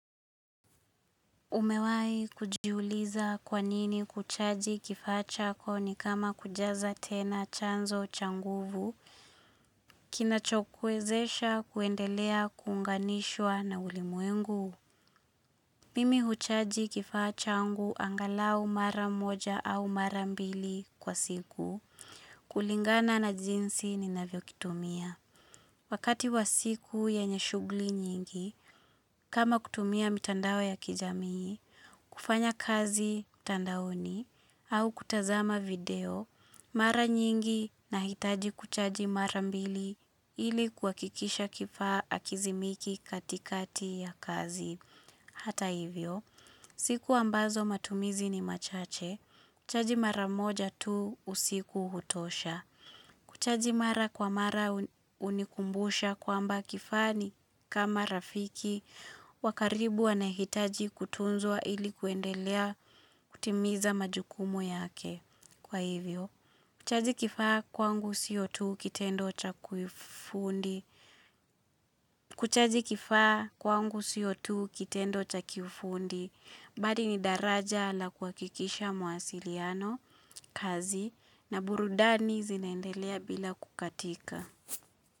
Umewai kujuliza kwa nini kuchaji kifaa chako ni kama kujaza tena chanzo changuvu, kinachokwezesha kuendelea kunganishwa na ulimuengu. Mimi uchaji kifaa changu angalau mara moja au mara mbili kwa siku, kulingana na jinsi ni navio kitumia. Wakati wa siku ya enye shughuli nyingi, kama kutumia mitanda ya kijamii, kufanya kazi tandaoni, au kutazama video, mara nyingi na hitaji kuchaji mara mbili ili kwa kuhakikisha kifaa akizimiki katikati ya kazi. Hata hivyo. Siku ambazo matumizi ni machache. Kuchaji mara moja tu usiku hutosha. Kuchaji mara kwa mara unikumbusha kwamba kifaa ni kama rafiki wakaribu anehitaji kutunzwa ilikuendelea kutimiza majukumu yake. Kwa hivyo kuchaji kifaa kwangu siyotu kitendo cha kufundi, badi ni daraja la kuhakikisha muasiliano, kazi, na burudani zinendelea bila kukatika.